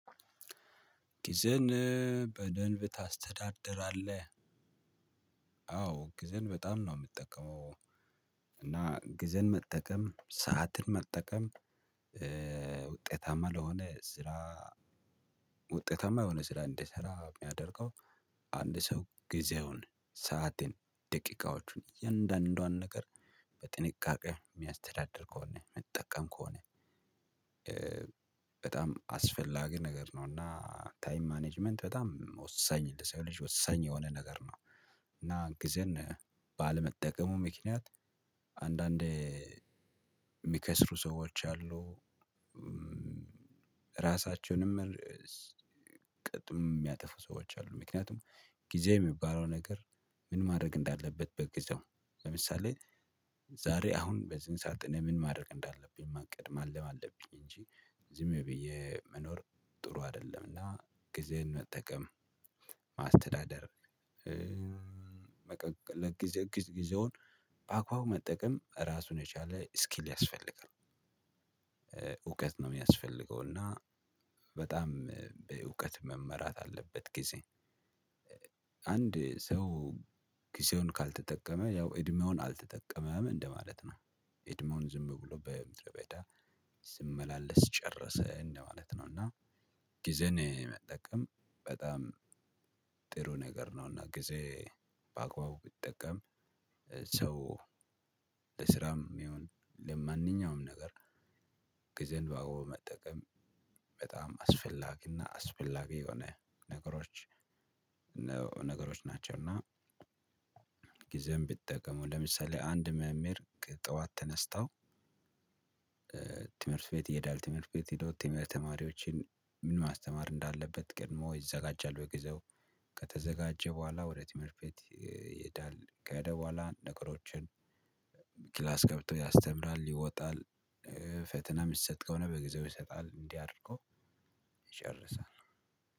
ጊዜን በደንብ ታስተዳድራለህ? አዎ ጊዜን በጣም ነው የምጠቀመው። እና ጊዜን መጠቀም ሰዓትን መጠቀም። ውጤታማ ለሆነ ስራ ውጤታማ የሆነ ስራ እንድሰራ የሚያደርገው። አንድ ሰው ጊዜውን ሰአቴን ደቂቃዎቹን እያንዳንዷን ነገር በጥንቃቄ የሚያስተዳድር ከሆነ ሚጠቀም ከሆነ። በጣም አስፈላጊ ነገር ነው እና ታይም ማኔጅመንት በጣም ወሳኝ ልጅ ወሳኝ የሆነ ነገር ነው። እና ጊዜን ባለመጠቀሙ ምክንያት አንዳንዴ የሚከስሩ ሰዎች አሉ። ራሳቸውንም ቅጥም የሚያጠፉ ሰዎች አሉ። ምክንያቱም ጊዜ የሚባለው ነገር ምን ማድረግ እንዳለበት በግዛው ለምሳሌ። ዛሬ አሁን በዚህን ሰዓት እኔ ምን ማድረግ እንዳለብኝ ማቀድ ማለም አለብኝ እንጂ ዝም ብዬ መኖር ጥሩ አይደለምና ጊዜን መጠቀም። ማስተዳደር ጊዜውን በአግባቡ መጠቀም ራሱን የቻለ ስኪል ያስፈልጋል። እውቀት ነው የሚያስፈልገው እና በጣም በእውቀት መመራት አለበት ጊዜ። አንድ ሰው ጊዜውን ካልተጠቀመ ያው እድሜውን አልተጠቀመም እንደማለት ነው። እድሜውን ዝም ብሎ በምድረ በዳ ሲመላለስ ጨረሰ እንደማለት ነው። እና ጊዜን መጠቀም በጣም ጥሩ ነገር ነውና። ጊዜ በአግባቡ ቢጠቀም ሰው ለስራም ይሁን ለማንኛውም ነገር ግዜን ባግባቡ መጠቀም። በጣም አስፈላጊ እና አስፈላጊ የሆነ ነገሮች ነገሮች ናቸው። እና ጊዜም ቢጠቀሙ ለምሳሌ አንድ መምህር ጠዋት ተነስታው። ትምህርት ቤት ይሄዳል ትምህርት ቤት ሂዶ ትምህርት ተማሪዎችን ምን ማስተማር እንዳለበት ቀድሞ ይዘጋጃል በግዜው። ከተዘጋጀ በኋላ ወደ ትምህርት ቤት ይሄዳል። ከሄደ በኋላ ነገሮችን ክላስ ገብቶ ያስተምራል ይወጣል። ፈተና የሚሰጥ ከሆነ በጊዜው ይሰጣል እንዲህ አድርጎ ይጨርሳል።